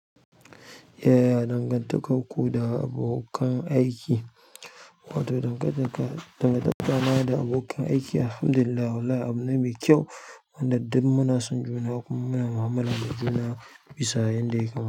Yaya dangantakarku da abokan aiki? Wato, dangantaka, dangantakana da abokan aiki, Alhamdulillah, wallahi abu ne mai kyau, wanda duk muna son juna, kuma muna mu'amala da juna bisa yadda ya kamata.